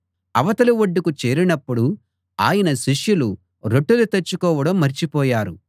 అవతలి ఒడ్డుకు చేరినప్పుడు ఆయన శిష్యులు రొట్టెలు తెచ్చుకోవడం మర్చిపోయారు